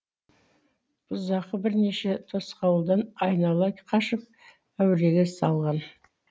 бұзақы бірнеше тосқауылдан айнала қашып әуреге салған